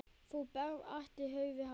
Þú berð ætíð höfuð hátt.